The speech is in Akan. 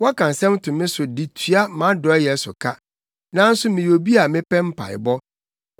Wɔka nsɛm to me so de tua mʼadɔeyɛ so ka, nanso meyɛ obi a mepɛ mpaebɔ.